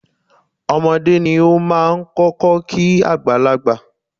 Ọmọdé ni ó máa ń kọ́kọ́ kí àgbàlagbà.